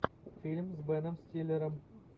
фильм с беном стиллером